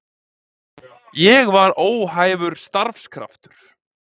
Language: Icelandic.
Ég var óhæfur starfskraftur.